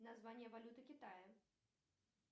название валюты китая